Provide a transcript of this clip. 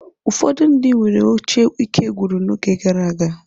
Ụfọdụ ndị nwere oche ikegwụrụ n'oge gara aga.